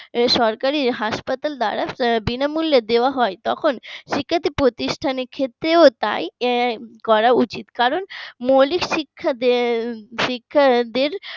সরকারি হাসপাতাল দ্বারা বিনামূল্যে দেওয়া হয় তখন শিক্ষার্থী প্রতিষ্ঠানের ক্ষেত্রেও তাই করা উচিত কারণ মৌলিক শিক্ষা শিক্ষার্থীদের